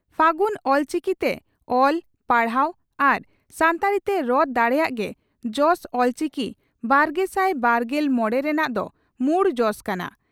ᱯᱷᱟᱹᱜᱩᱱ ᱚᱞᱪᱤᱠᱤᱛᱮ ᱚᱞ, ᱯᱟᱲᱦᱟᱣ ᱟᱨ ᱥᱟᱱᱛᱟᱲᱤ ᱛᱮ ᱨᱚᱲ ᱫᱟᱲᱮᱭᱟᱜ ᱜᱮ "ᱡᱚᱥ ᱚᱞᱪᱤᱠᱤᱼᱵᱟᱨᱜᱮᱥᱟᱭ ᱵᱟᱨᱜᱮᱞ ᱢᱚᱲᱮ " ᱨᱮᱱᱟᱜ ᱫᱚ ᱢᱩᱲ ᱡᱚᱥ ᱠᱟᱱᱟ ᱾